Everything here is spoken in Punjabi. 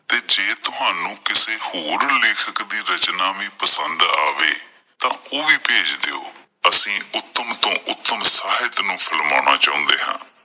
ਤੁਹਾਨੂੰ ਕਿਸੇ ਹੋਰ ਲੇਖਕ ਦੀ ਰਚਨਾ ਵੀ ਪਸੰਦ ਆਵੈ ਤਾਂ ਉਹ ਵੀ ਭੇਜ ਦਿਉ। ਅਸੀਂ ਉੱਤਮ ਤੋਂ ਉੱਤਮ ਸਾਹਿਤ ਨੂੰ ਫਿਲਮਾਉਣਾ ਚਾਹੁੰਦੇ ਹਾਂ।